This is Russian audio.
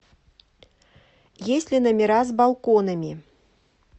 есть ли номера с балконами